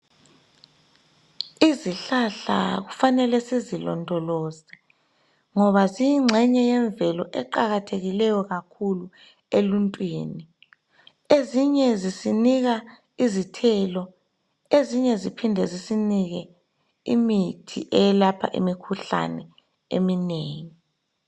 Izihlahla kufanele sizilondoloze ngoba ziyingxenye yemvelo eqakathekileyo kakhulu eluntwini ezinye zisinika izithelo ezinye ziphinde zisinike imithi eyelapha imikhuhlani eminengi.